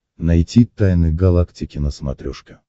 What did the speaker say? найти тайны галактики на смотрешке